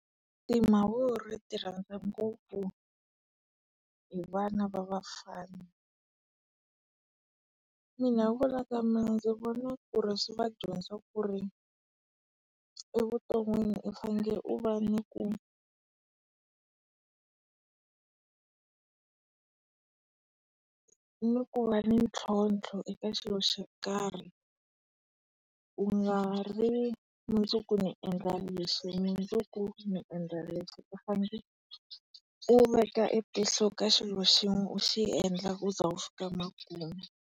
Timavuri ti rhandza ngopfu hi vana va vafana. Mina hi ku vona ka mina ndzi vona ku ri swi va dyondzisa ku ri evuton'wini u fanele u va ni ku ku va ni ntlhotlho eka xilo xo karhi. U nga ri mundzuku ni endla lexi mundzuku ni endla lexi u fanele u veka e tihlo ka xilo xin'we u xi endla u ze u fika makumu.